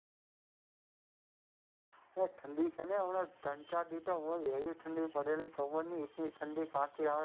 એ ઠંડી છે ને હમણાં ત્રણ ચાર દીવસ તો રોજ એવી ઠંડી પડે ખબર નહિ એટલી ઠંડી ક્યાંથી આવે?